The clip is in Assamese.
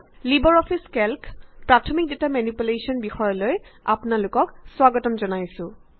লিবাৰ অফিচ কেল্কৰ প্ৰাথমিক ডেটা মেনিপুলেশ্যন বিষয়লৈ আপোনাক স্বাগতম জনাইছোঁ